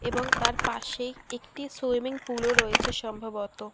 এবং তার পাসেই একটি সুইমিং পুল ও রয়েছে সম্ভবত।